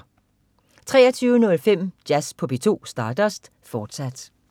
23.05 Jazz på P2. Stardust, fortsat